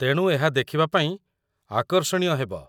ତେଣୁ ଏହା ଦେଖିବା ପାଇଁ ଆକର୍ଷଣୀୟ ହେବ।